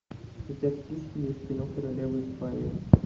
у тебя в списке есть кино королева испании